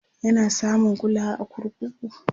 yana samun kulawa a kurkuku?